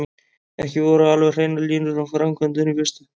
Ekki voru alveg hreinar línur um framkvæmdina í fyrstu.